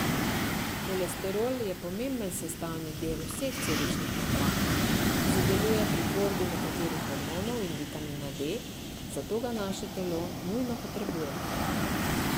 Holesterol je pomemben sestavni del vseh celičnih membran, sodeluje pri tvorbi nekaterih hormonov in vitamina D, zato ga naše telo nujno potrebuje.